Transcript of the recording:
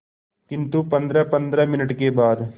किंतु पंद्रहपंद्रह मिनट के बाद